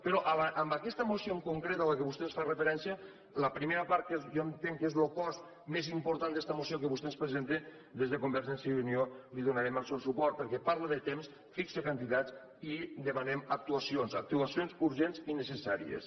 però en aquesta moció en concret a què vostè ens fa referència a la primera part que jo entenc que és lo cost més important d’esta moció que vostè ens presenta des de convergència i unió li donarem el suport perquè parla de temps fixa quantitats i demana actuacions actuacions urgents i necessàries